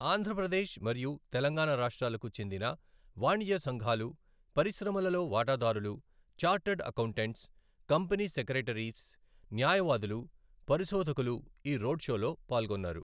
ఆంధ్ర ప్రదేశ్ మరియు తెలంగాణ రాష్ట్రాలకు చెందిన వాణిజ్య సంఘాలు, పరిశ్రమలలో వాటాదారులు, ఛార్టర్డ్ అకౌంటెట్స్, కంపెనీ సెక్రెటరీస్, న్యాయవాదులు, పరిశోధకులు ఈ రోడ్ షోలో పాల్గొన్నారు.